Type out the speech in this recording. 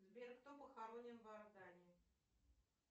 сбер кто похоронен в иордании